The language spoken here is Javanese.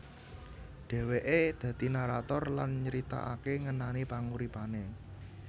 Dheweke dadi narator lan nyritakake ngenani panguripane